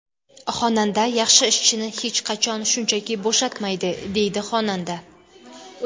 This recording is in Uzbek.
Xonanda yaxshi ishchini hech qachon shunchaki bo‘shatmaydi”, deydi xonanda.